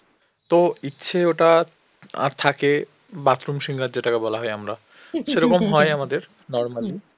ইচ্ছে ওটা আর থাকে bathroom singer যেটাকে বলা হয় আমরা সেরকম হয় আমাদের normally.